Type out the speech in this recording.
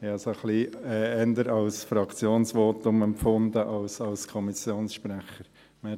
Ich habe es eher ein wenig als Fraktionsvotum empfunden denn als Votum des Kommissionssprechers.